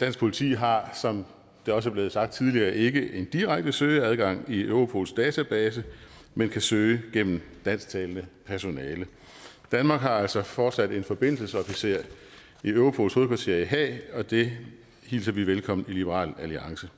dansk politi har som der også er blevet sagt tidligere ikke en direkte søgeadgang i europols database men kan søge gennem dansktalende personale danmark har altså fortsat en forbindelsesofficer i europols hovedkvarter i haag og det hilser vi velkommen i liberal alliance